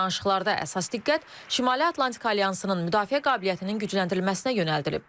Danışıqlarda əsas diqqət Şimali Atlantika Alyansının müdafiə qabiliyyətinin gücləndirilməsinə yönəldilib.